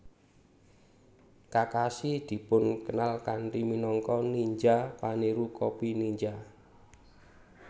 Kakashi dipun kenal kanthi minangka ninja paniru copy ninja